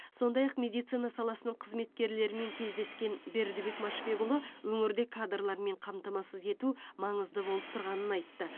сондай ақ медицина саласының қызметкерлерімен кездескен бердібек машбекұлы өңірде кадрлармен қамтамасыз ету маңызды болып тұрғанын айтты